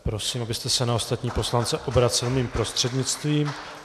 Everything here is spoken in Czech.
Prosím, abyste se na ostatní poslance obracel mým prostřednictvím.